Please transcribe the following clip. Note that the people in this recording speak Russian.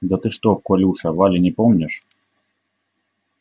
да ты что колюша вали не помнишь